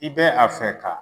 I bɛ a fɛ ka